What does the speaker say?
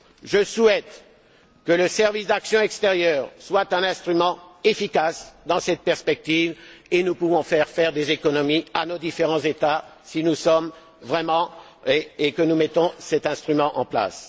Je souhaite que le service d'action extérieure soit un instrument efficace dans cette perspective et nous pouvons faire faire des économies à nos différents États si nous mettons cet instrument en place.